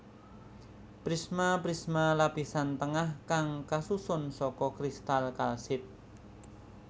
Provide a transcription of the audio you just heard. Prisma Prisma lapisan tengah kang kasusun saka kristal kalsit